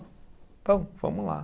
Então, vamos lá.